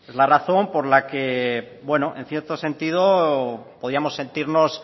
la razón por la que en cierto sentido podríamos sentirnos